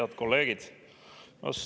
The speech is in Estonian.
Head kolleegid!